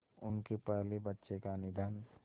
उनके पहले बच्चे का निधन